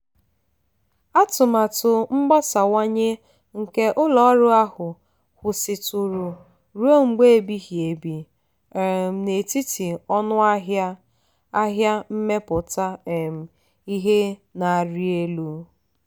um atụmatụ mgbasawanye nke ụlọ ọrụ ahụ kwụsịtụrụ ruo mgbe ebighi ebi um n'etiti ọnụ ahịa ahịa mmepụta um ihe na-arị elu.